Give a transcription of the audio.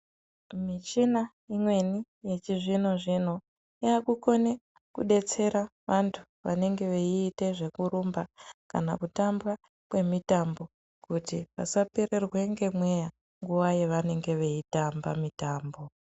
Michina imweni yechizvino zvino yakukone kudetsera vantu vanenge veite zvekurumba kana kutamba kwemitambo kuti vasapererwe ngemweya nguvaa yavanenge veitamba mitambo